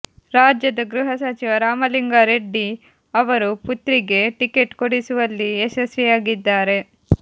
ರಾಜ್ಯದ ಗೃಹ ಸಚಿವ ರಾಮಲಿಂಗಾ ರೆಡ್ಡಿ ಅವರು ಪುತ್ರಿಗೆ ಟಿಕೆಟ್ ಕೊಡಿಸುವಲ್ಲಿ ಯಶಸ್ವಿಯಾಗಿದ್ದಾರೆ